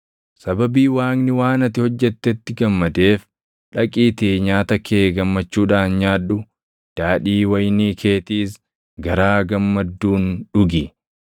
Sababii Waaqni waan ati hojjettetti gammadeef dhaqiitii nyaata kee gammachuudhaan nyaadhu; daadhii wayinii keetiis garaa gammadduun dhugi.